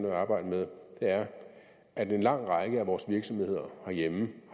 at arbejde med er at en lang række af vores virksomheder herhjemme